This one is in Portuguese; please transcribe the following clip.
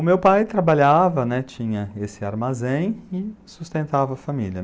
O meu pai trabalhava, né, tinha esse armazém e sustentava a família.